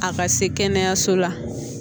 A ka se kɛnɛyaso la